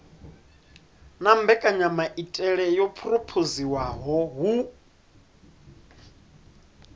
na mbekanyamaitele yo phurophoziwaho hu